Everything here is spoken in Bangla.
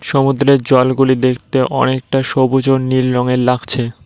সমুদ্রের জলগুলি দেখতে অনেকটা সবুজ ও নীল রঙের লাগছে।